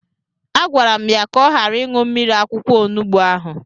A gwara m ya ka ọ ghara ịṅụ mmiri akwụkwọ onubu ahụ!